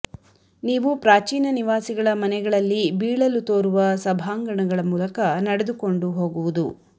ನೀವು ಪ್ರಾಚೀನ ನಿವಾಸಿಗಳ ಮನೆಗಳಲ್ಲಿ ಬೀಳಲು ತೋರುವ ಸಭಾಂಗಣಗಳ ಮೂಲಕ ನಡೆದುಕೊಂಡು ಹೋಗುವುದು